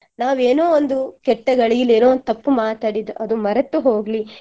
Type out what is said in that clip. ನಾವೇನೋ ಒಂದು ಕೆಟ್ಟ ಘಳಿಗೆಲ್ಲಿ ಏನೋ ಒಂದು ತಪ್ಪು ಮಾತಾಡಿದ್ ಅದು ಮರೆತುಹೋಗ್ಲಿ